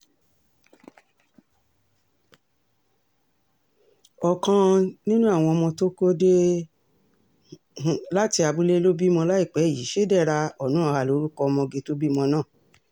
ọ̀kan um nínú àwọn ọmọ tó kó dé um láti abúlé ló bímọ láìpẹ́ yìí chidera onuoha lorúkọ ọmọge tó bímọ náà